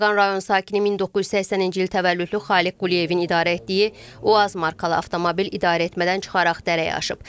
Beyləqan rayon sakini 1980-ci il təvəllüdlü Xaliq Quliyevin idarə etdiyi UAZ markalı avtomobil idarəetmədən çıxaraq dərəyə aşıb.